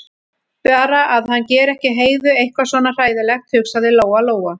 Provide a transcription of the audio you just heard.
Bara að hann geri ekki Heiðu eitthvað svona hræðilegt, hugsaði Lóa-Lóa.